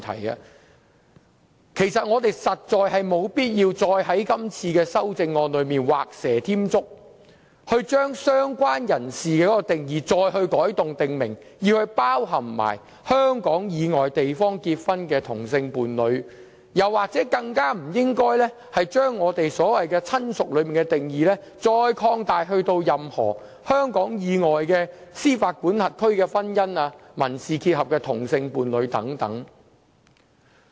因此，我們實在沒有必要在修正案中畫蛇添足，對"相關人士"的定義再作改動，訂明須一併涵蓋香港以外地方結婚的同性伴侶；更不應將"親屬"的定義擴大至涵蓋香港以外的司法管轄區的婚姻及民事結合的同性伴侶等。